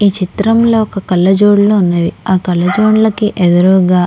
ఈ చిత్రంలో ఒక కళ్ళజోడు ఉన్నదీ. ఆ కళ్లజోడ్ల కి ఎదురుగా --